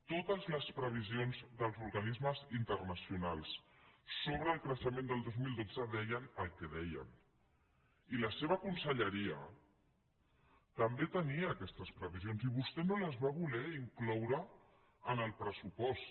totes les previsions dels organismes internacionals sobre el creixement del dos mil dotze deien el que deien i la seva conselleria també tenia aquestes previsions i vostè no les va voler incloure en el pressupost